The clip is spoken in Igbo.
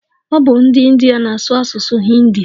Ọ bu ndi india na-asụ asụsụ hindi